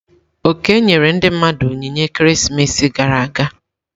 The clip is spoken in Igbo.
Oke nyere ndi mmadu onyinye ekeresimesi gara aga.